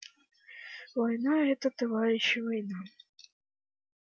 война это товарищи война